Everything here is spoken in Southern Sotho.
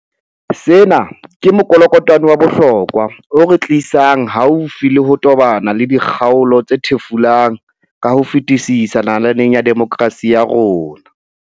Sena ke mokolokotwane wa bohlokwa o re tli sang haufi le ho tobana le dikgaolo tse thefulang ka ho fetisisa nalaneng ya demokerasi ya rona.